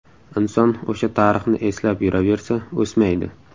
Inson o‘sha tarixni eslab yuraversa, o‘smaydi.